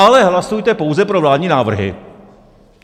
Ale hlasujte pouze pro vládní návrhy!